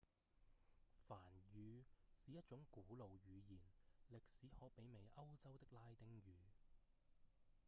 梵語是一種古老語言歷史可媲美歐洲的拉丁語